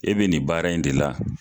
E be nin baara in de la